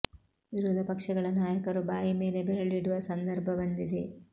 ವಿರೋಧ ಪಕ್ಷಗಳ ನಾಯಕರು ಬಾಯಿ ಮೇಲೆ ಬೆರಳು ಇಡುವ ಸಂದರ್ಭ ಬಂದಿದೆ